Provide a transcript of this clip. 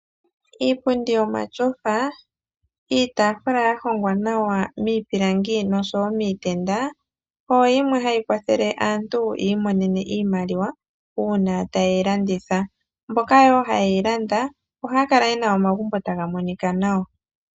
Iipundi yomatyofa, iitafula yahongwa nawa miipilangi nosho wo miitenda oyo yimwe hayi kwathele aantu yiimonene iimaliwa uuna taye yi landitha, mboka wo haye yi landa ohaya kala yena omagumbo taga monika nawa.